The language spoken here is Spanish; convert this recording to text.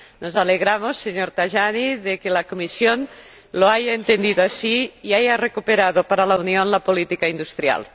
Nos alegramos, señor Tajani, de que la Comisión lo haya entendido así y haya recuperado para la Unión la política industrial.